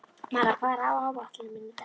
Mara, hvað er á áætluninni minni í dag?